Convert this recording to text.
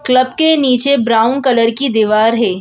Club के नीचे brown colour की दीवार है।